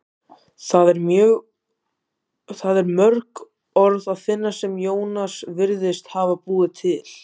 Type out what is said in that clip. þar er mörg orð að finna sem jónas virðist hafa búið til